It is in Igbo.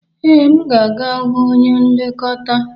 Ee, aga m aga hụ onye nlekọta